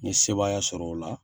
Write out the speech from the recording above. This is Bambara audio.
N ye sebaaya sɔrɔ o la